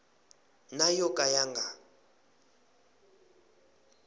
na yo ka ya nga